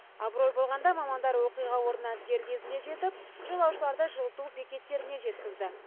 абырой болғанда мамандар оқиға орнына дер кезінде жетіп жолаушыларды жылыту бекеттеріне жеткізді